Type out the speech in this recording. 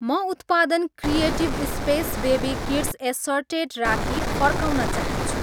म उत्पादन creative space baby kids assorted राखी फर्काउन चाहन्छु